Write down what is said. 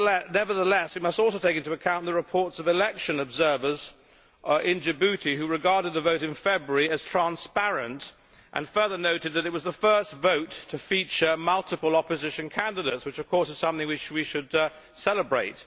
Nevertheless, we must also take into account the reports of election observers in Djibouti who regarded the vote in February as transparent and further noted that it was the first vote to feature multiple opposition candidates, which of course is something we should celebrate.